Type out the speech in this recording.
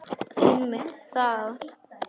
Einmitt það.